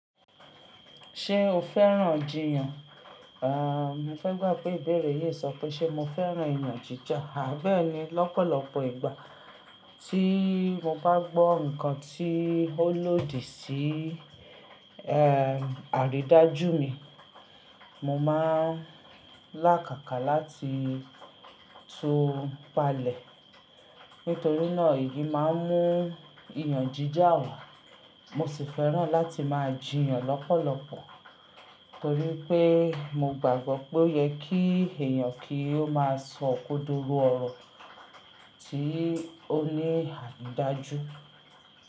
Ṣé o fẹ́ràn jìyàn? Ah, mo fẹ́ gbà pé ìbéèrè yìí sọ pé ṣé mo fẹ́ràn ìyàn jíjà. Àbẹ́ẹ̀ni, lọ́pọ̀lọpọ̀ ìgbà tí mo bá gbọ́ ǹkan tí ó lòdì sí, ẹ, àrídájú mi, mo máa lákàkà láti tó palẹ̀. Nítorí náà, eyi máa ń mú ìyàn jíjà wá. Mo sì fẹ́ràn láti máa jìyàn lọ́pọ̀lọpọ̀ torí pé mo gbàgbọ́ pé o yẹ kí èèyàn kí ó máa sọ ókódoro ọ̀rọ̀ tí ó ní àrídájú.